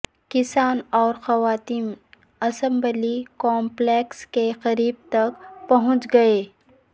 کسان اور خواتین اسمبلی کامپلکس کے قریب تک پہونچ گئے